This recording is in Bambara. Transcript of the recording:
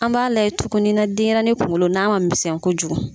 An b'a layɛ tuguni na denyɛrɛni kunkolo n'a ma misɛn kojugu.